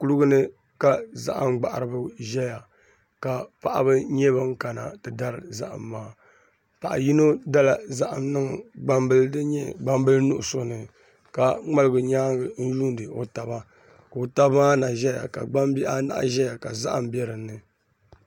Kuligi ni ka zahama gbaharibi ʒɛya ka paɣaba nyɛ bin kana ti dari zaham maa paɣa yino dala zaham niŋ gbambili din nyɛ gbambili nuɣso ni ka ŋmaligi nyaangi n yuundi o taba ka o tabi maa na ʒɛya ka gbambihi anahi ʒɛya ka zaham bɛ dinni